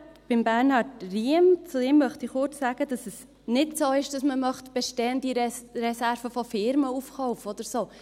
Zu Bernhard Riem: Ihm möchte ich kurz sagen, dass es nicht so ist, dass man bestehende Reserven von Firmen aufkaufen möchte oder so.